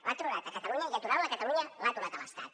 l’ha aturat a catalunya i aturant la a catalunya l’ha aturat a l’estat